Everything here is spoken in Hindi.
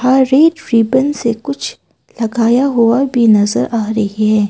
रेड रिबन से कुछ लगाया हुआ भी नजर आ रही है।